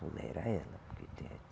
Tolera ela.